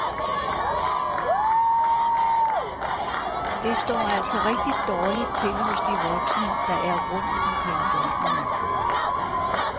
Det står altså rigtig dårligt til hos de voksne, der er rundt omkring børnene.